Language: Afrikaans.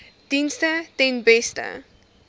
dienste ten beste